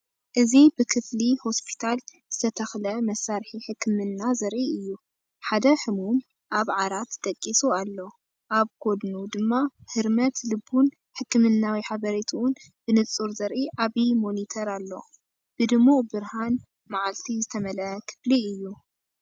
እዚ ብ ክፍሊ ሆስፒታል ዝተተኽለ መሳርሒ ሕክምና ዘርኢ እዩ። ሓደ ሕሙም ኣብ ዓራት ደቂሱ ኣሎ፡ ኣብ ጎድኑ ድማ ህርመት ልቡን ሕክምናዊ ሓበሬታኡን ብንጹር ዘርኢ ዓቢ ሞኒተር ኣሎ። ብድሙቕ ብርሃን መዓልቲ ዝተመልአ ክፍሊ እዩ።